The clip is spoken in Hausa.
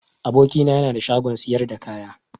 Aboki na yana da shagon siyar da kaya.